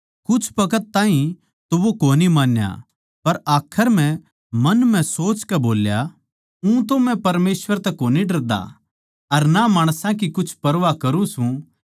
कुछ बखत ताहीं तो वो कोनी मान्या पर आखर म्ह मन म्ह सोचकै बोल्या ऊंतो मै परमेसवर तै कोनी डरदा अर ना माणसां की कुछ परवाह करुँ सूं